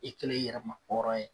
I kɛlen i yɛrɛ ma hɔrɔn ye